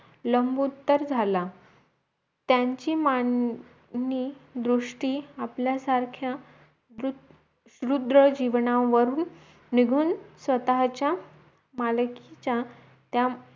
लांबुत्तर झाला त्यांची मांनी दृष्टी आपल्या सारख्या वृद्ध रुद्र जीवनावरून निघून स्वतःच्या मालकीचा त्या